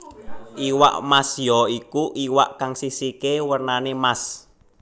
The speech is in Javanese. Iwak Mas ya iku iwak kang sisiké wernanè Mas